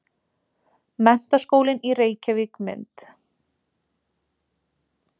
Menntaskólinn í Reykjavík- mynd.